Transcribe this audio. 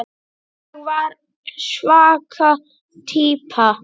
Ég var svaka týpa.